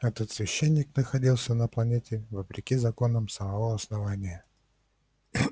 этот священник находился на планете вопреки законам самого основания